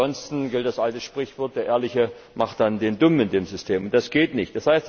Ansonsten gilt das alte Sprichwort Der Ehrliche ist dann der Dumme in dem System. Das geht nicht.